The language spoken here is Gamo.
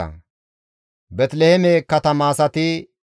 Megebise katama asati 156,